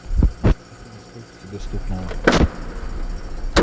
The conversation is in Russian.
афина сколько тебе стукнуло